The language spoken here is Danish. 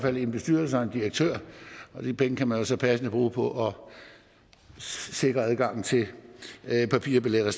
andet en bestyrelse og en direktør og de penge kan man jo så passende bruge på at sikre er adgang til papirbilletter